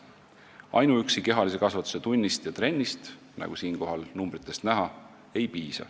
Ainuüksi kehalise kasvatuse tunnist ja trennist ei piisa, nagu numbritest näha.